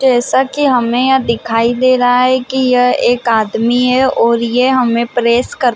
जैसा की हमें यह दिखाई दे रहा है की यह एक आदमी है और ये हमें प्रेस करते--